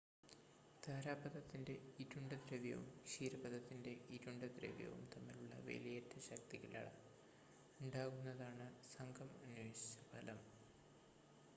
താരാപഥത്തിൻ്റെ ഇരുണ്ട ദ്രവ്യവും ക്ഷീരപഥത്തിൻ്റെ ഇരുണ്ട ദ്രവ്യവും തമ്മിലുള്ള വേലിയേറ്റ ശക്തികളാൽ ഉണ്ടാകുന്നതാണ് സംഘം അന്വേഷിച്ച ഫലം